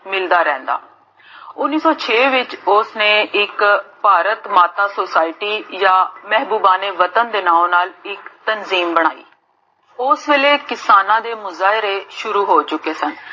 ਮਿਲਦਾ ਰਹੰਦਾ l ਉਨ੍ਨੀਸ ਸੋ ਛੇ ਵਿਚ, ਓਸ ਨੇ ਇਕ ਭਾਰਤ ਮਾਤਾ society ਯਾ ਮੇਹਬੂਬਾ ਨੇ, ਵਤਨ ਦੇ ਨਾਮ ਨਾਲ ਇਕ ਤਰਕੀਬ ਬਣਾਈ ਓਸ ਵੇਲੇ ਕਿਸਾਨਾਂ ਦੇ ਮੁਜਾਏ ਸ਼ੁਰੂ ਹੋ ਚੁਕੇ ਸਨ l